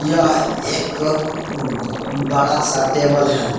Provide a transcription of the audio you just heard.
यह एक अह बड़ा सा टेबल है।